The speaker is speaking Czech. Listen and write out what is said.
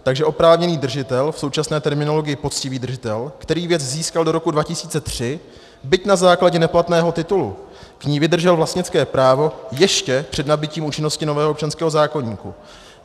Takže oprávněný držitel, v současné terminologii poctivý držitel, který věc získal do roku 2003, byť na základě neplatného titulu, k ní vydržel vlastnické právo ještě před nabytím účinnosti nového občanského zákoníku.